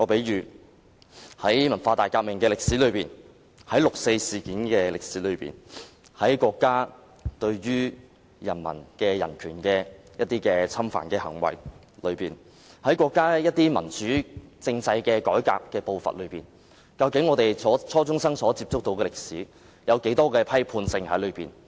以文化大革命、六四事件、國家侵犯人民人權的行為為例，在國家民主政制改革的步伐中，究竟初中生接觸到的歷史存有多少批判性？